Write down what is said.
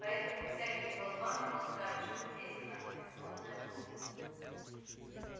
поэтому всякие болваны болтают что здесь у нас бездонная пропасть